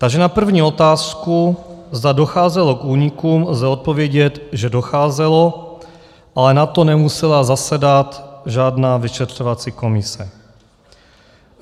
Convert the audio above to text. Takže na první otázku, zda docházelo k únikům, lze odpovědět, že docházelo, ale na to nemusela zasedat žádná vyšetřovací komise.